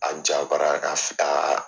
A jabara ka